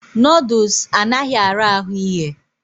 Nọdụs anaghị ara ahụ ighe.